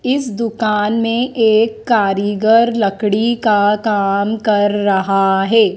इस दुकान मे एक कारीगर लकड़ी का काम कर रहा हे ।